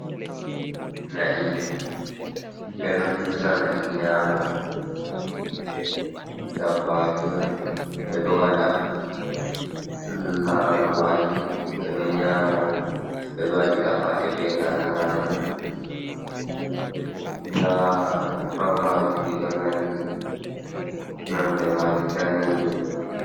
Na'i, ɓeɗon hirsa na'i nyaama, ndabbaji oun ɓeɗon waɗa laral maaji ɓeɗon nyaama, ɓeɗon waɗira paɗe bee laral maaji, nda ɗipat maaji ɗiɗon nandi, nonde maaji daneejum.